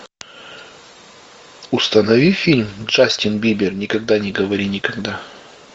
установи фильм джастин бибер никогда не говори никогда